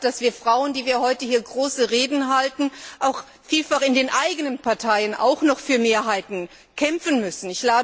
Ich weiß, dass wir Frauen, die wir heute hier große Reden halten, vielfach auch noch in den eigenen Parteien für Mehrheiten kämpfen müssen.